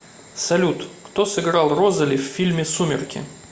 салют кто сыграл розоли в фильме сумерки